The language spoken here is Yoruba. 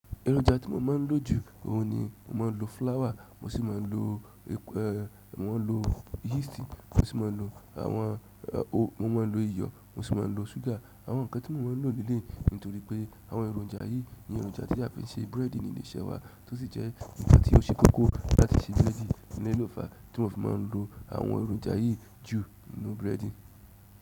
Ẹrọjà tí mo máa ń lò jù òhùn ni mo máa ń lo flour, mo sì máa ń lo ek eh, mo n lo yeast, mo sì máa ń lo àwọn o, mo maa n lo iyọ̀, mo sì máa ń lo ṣúgà. Àwọn nǹkan tí mo ń lò léleyii nítorí pé àwọn èròjà yìí ní èròjà tí a fi ń ṣe búrẹ́dì nílé iṣẹ́ wa tó sì jẹ́ nkàn tí ó ṣe kókó láti ṣe búrẹ́dì èleyii lo fa a tí won fi máa ń lo àwọn èròjà yìí jù nínú búrẹ́dì.